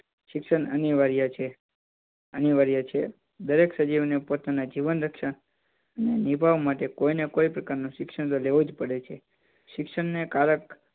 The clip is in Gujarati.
શિક્ષણ અનિવાર્ય છે અનિવાર્ય છે દરેક સજીવ અને પોતાના જીવન રક્ષણ નિભાવવા માટે કોઈને કોઈ પ્રકારનું શિક્ષણ તો લેવું જ પડે છે શિક્ષણ કારક